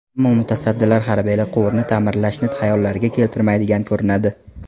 Ammo mutasaddilar hali-beri quvurni ta’mirlashni xayollariga keltirmaydigan ko‘rinadi.